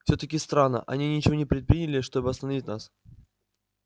всё-таки странно они ничего не предприняли чтобы остановить нас